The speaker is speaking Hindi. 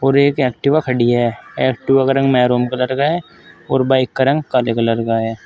और एक एक्टिवा खड़ी है एक्टिवा का रंग महरून कलर का है और बाइक का रंग काले कलर का है।